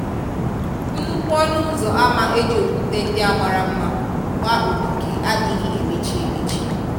Nnukwu ọnụ ụzọ ámá eji okwúte ndị a mara mma gbaa ogige adịghị emechi emechi.